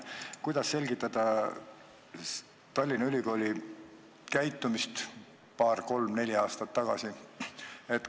Kuidas selgitada Tallinna Ülikooli käitumist paar-kolm-neli aastat tagasi?